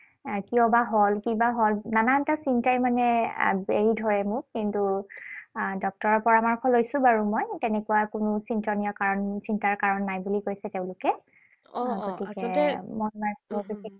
কিয়বা হল, কি বা হল, নানান এটা চিন্তাই মানে বেৰি ধৰে মোক। কিন্তু ডক্তৰৰ পৰামৰ্শ লৈছো বাৰু মই। তেনেকুৱা কোনো চিন্তনীয় কাৰণ চিন্তাৰ কাৰণ নাই বুলি কৈছে তেওঁলোকে।